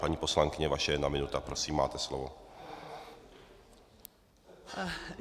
Paní poslankyně, vaše jedna minuta, prosím, máte slovo.